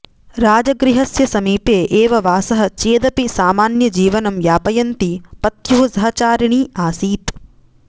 राजगृहस्य समीपे एव वासः चेदपि सामान्यजीवनं यापयन्ती पत्युः सहचारिणी आसीत्